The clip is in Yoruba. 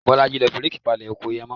Bọ́lájí ló fi réèkì palẹ̀ oko yẹn mọ